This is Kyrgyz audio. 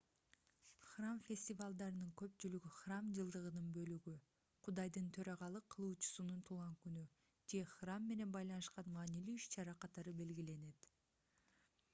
храм фестивалдарынын көпчүлүгү храм жылдыгынын бөлүгү кудайдын төрагалык кылуучусунун туулган күнү же храм менен байланышкан маанилүү иш-чара катары белгиленет